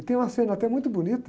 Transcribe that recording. E tem uma cena até muito bonita.